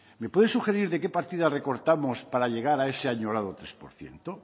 me puede sugerir de qué partida recortamos para llegar a ese añorado tres por ciento